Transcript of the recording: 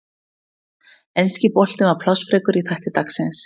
Enski boltinn var plássfrekur í þætti dagsins.